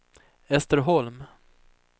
Ester Holm